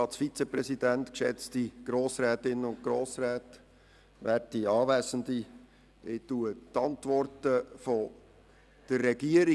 Ich bestätige selbstverständlich die vorliegenden Antworten der Regierung.